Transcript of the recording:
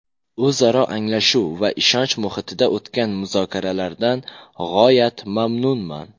O‘zaro anglashuv va ishonch muhitida o‘tgan muzokaralardan g‘oyat mamnunman.